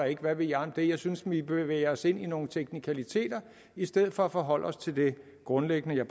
ikke hvad ved jeg om det jeg synes vi bevæger os ind i nogle teknikaliteter i stedet for at forholde os til det grundlæggende jeg